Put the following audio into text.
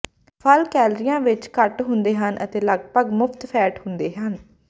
ਫਲ ਕੈਲੋਰੀਆਂ ਵਿੱਚ ਘੱਟ ਹੁੰਦੇ ਹਨ ਅਤੇ ਲੱਗਭਗ ਮੁਫ਼ਤ ਫੈਟ ਹੁੰਦੇ ਹਨ